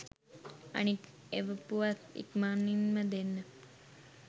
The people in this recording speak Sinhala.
අනික් එවපුවත් ඉක්මනින්ම දෙන්න